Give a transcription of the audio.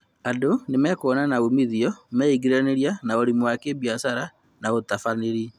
Andũ nĩmekũona na umithio meingĩrania na ũrĩmi wa gibiacara na ũtabararĩri